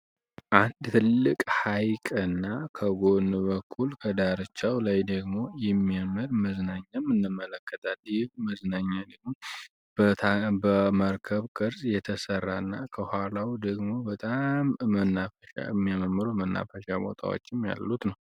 አንድ ትልቅ ሐይቅ እና ከጎን በኩል ከዳርቻው ላይ ደግሞ የሚያምር መዝናኘም እንመለከታለን መዝናኛ ደግም በመርከብ ቅርዝ የተሠራ እና ከኋላው ደግሞ በጣም የሚያመምሮ መናፈሻ ቦታዎችም ያሉት ነው።